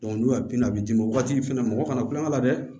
n'u y'a bin a bi d'i ma o waati fɛnɛ ma mɔgɔ kana kulonkɛ la dɛ